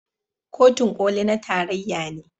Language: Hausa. Kotun Koli na tarayya ne.